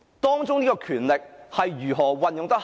當中的權力是如何恰當地運用呢？